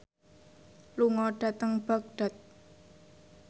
lunga dhateng Baghdad